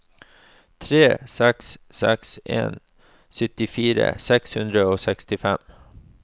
tre seks seks en syttifire seks hundre og sekstifem